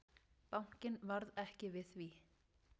Bankinn varð ekki við því.